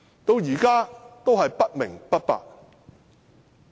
到現在都是不明不白。